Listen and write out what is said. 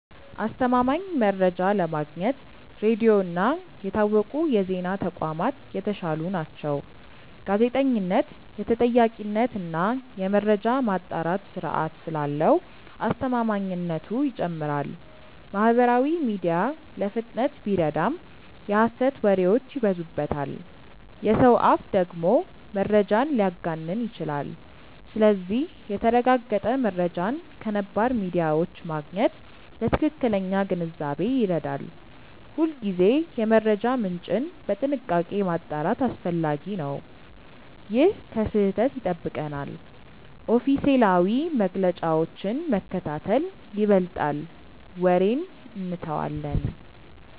አስተማማኝ መረጃ ለማግኘት ሬዲዮ እና የታወቁ የዜና ተቋማት የተሻሉ ናቸው። ጋዜጠኝነት የተጠያቂነት እና የመረጃ ማጣራት ስርዓት ስላለው አስተማማኝነቱ ይጨምራል። ማህበራዊ ሚዲያ ለፍጥነት ቢረዳም የሐሰት ወሬዎች ይበዙበታል። የሰው አፍ ደግሞ መረጃን ሊያጋንን ይችላል። ስለዚህ የተረጋገጠ መረጃን ከነባር ሚዲያዎች ማግኘት ለትክክለኛ ግንዛቤ ይረዳል። ሁልጊዜ የመረጃ ምንጭን በጥንቃቄ ማጣራት አስፈላጊ ነው። ይህ ከስህተት ይጠብቀናል። ኦፊሴላዊ መግለጫዎችን መከታተል ይበልጣል ወሬን እንተዋለን።